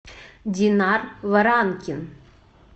динар варанкин